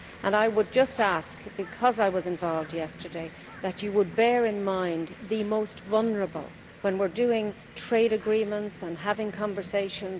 I would just ask, because I was involved yesterday, that you bear in mind the most vulnerable when we are doing trade agreements and having conversations.